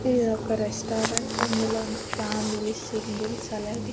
ఇదొక రెస్టారెంట్ ఇందులోని family singles అలాగే.